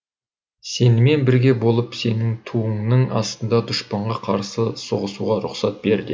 сенімен бірге болып сенің туыңның астында дұшпанға қарсы соғысуға рұқсат бер деді